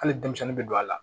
Hali denmisɛnnin bɛ don a la